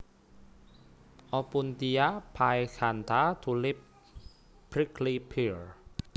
Opuntia phaeacantha Tulip Prickly Pear